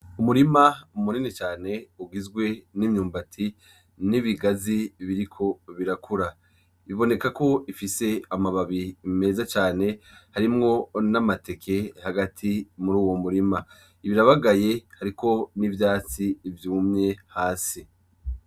Umurima munini cane, ugizwe n'imyumbati n'ibigazi biriko birakura, bibonekeko bifise amababi meza cane, harimwo n'amateke muruyo murima; birabagaye hariko n'ivyatsi vyumye hasi.